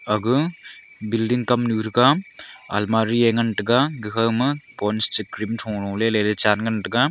agu building kamnu thraga almirah ngan taiga gakhama ponds cha cream thua lolele chan taiga.